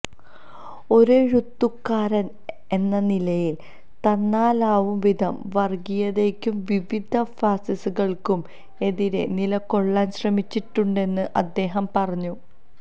ഒരെഴുത്തുകാരന് എന്ന നിലയില് തന്നാലാവും വിധം വര്ഗ്ഗീയതയ്ക്കും വിവിധ ഫാസിസങ്ങള്ക്കും എതിരെ നിലകൊള്ളാന് ശ്രമിച്ചിട്ടുണ്ടെന്നും അദ്ദേഹം പറഞ്ഞു